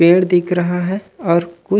पेड़ दिख रहा है और कुछ--